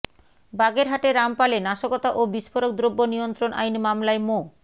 বাগেরহাটের রামপালে নাশকতা ও বিস্ফোরক দ্রব্য নিয়ন্ত্রণ আইন মামলায় মো